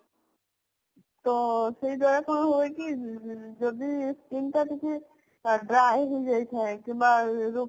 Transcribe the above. ତ ସେଇ ଯାହା ହୁଏକି କଣ skin ଟା ଯଦି କିଛି dry ହେଇଯାଇ ଥାଏ କିମ୍ବା